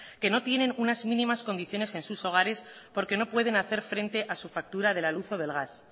que no tienen unas mínimas condiciones en sus hogares porque no pueden hacer frente a su factura de la luz o del gas